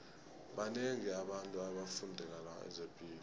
banengi abantu abafundele zepilo